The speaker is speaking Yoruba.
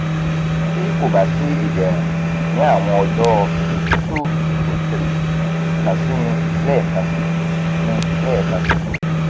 ti ko ba si iderun ni awọn ọjọ two to three kan si mi lẹẹkansi mi lẹẹkansi